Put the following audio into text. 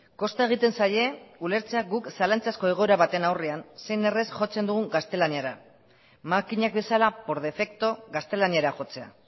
kosta egiten zaie ulertzea guk zalantzazko egoera baten aurrean zein errez jotzen dugun gaztelaniara makinak bezala por defecto gaztelaniara jotzea